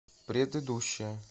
предыдущая